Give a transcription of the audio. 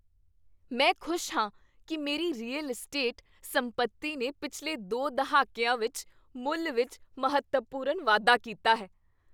ਮੈਂ ਖੁਸ਼ ਹਾਂ ਕੀ ਮੇਰੀ ਰੀਅਲ ਅਸਟੇਟ ਸੰਪਤੀ ਨੇ ਪਿਛਲੇ ਦੋ ਦਹਾਕੀਆਂ ਵਿੱਚ ਮੁੱਲ ਵਿੱਚ ਮਹੱਤਵਪੂਰਨ ਵਾਧਾ ਕੀਤਾ ਹੈ।